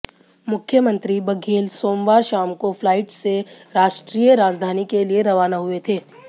मुख्यमंत्री बघेल सोमवार शाम को फ्लाइट से राष्ट्रीय राजधानी के लिए रवाना हुए थे